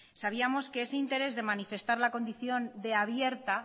sabíamos que ese interés de manifestar la condición de abierta